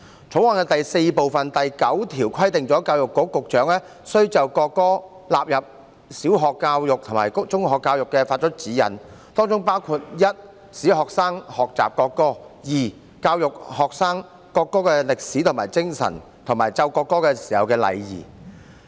《條例草案》第4部第9條規定，教育局局長須就國歌納入小學教育及中學教育發出指引 ：1 使學生學習歌唱國歌 ；2 以教育學生國歌的歷史和精神，以及奏唱國歌的禮儀。